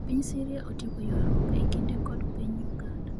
Piny Syria otieko ywarruok e kinde kod piny Uganda